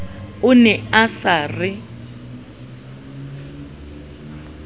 o ne a sa re